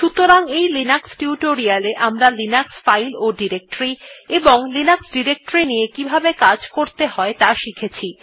সুতরাং এই Linux tutorial এ আমরা লিনাক্স ফাইল ও ডিরেক্টরী এবং লিনাক্স ডিরেক্টরীর নিয়ে কিভাবে কাজ করতে হয় ত়া শিখেছি